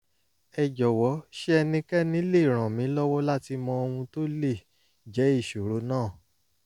ẹ jọ̀wọ́ ṣé ẹnikẹ́ni lè ràn mí lọ́wọ́ láti mọ ohun tó lè jẹ́ ìṣòro náà?